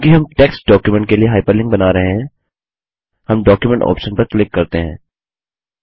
चूँकि हम text document के लिए हाइपरलिंक बना रहे हैं हम डॉक्यूमेंट ऑप्शन पर क्लिक करते हैं